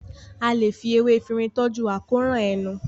a lẹ fí ewé Efinrin toju àkóràn ẹnu.